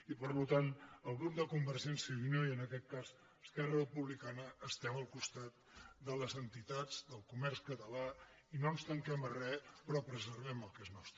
i per tant el grup de convergència i unió i en aquest cas esquerra republicana estem al costat de les entitats del comerç català i no ens tanquem a re però preservem el que és nostre